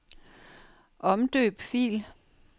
Omdøb fil.